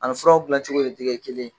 A ni furaw dilancogo de tɛ kɛ kelen ye